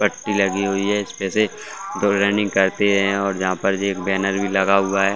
पट्टी लगी हुई है इसमें से जो रनिंग करते है और जहाँ पर एक बैनर भी लगा हुआ हैं।